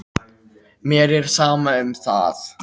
Mér er sama um það.